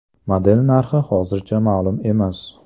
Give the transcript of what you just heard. Model narxi hozircha ma’lum emas.